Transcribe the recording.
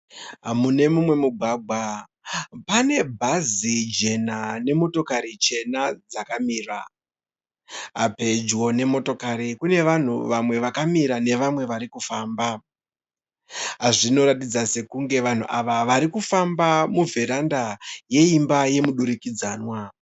Mune mumwe mugwagwa pane bhazi jena nemotokari chena dzakamira. Pedyo nemotokari pane vanhu vakamira nevamwe vari kufamba. Zvinoratidza sekunge vanhu ava vari kufamba muvheranda yeimba yemudurikidzanwa.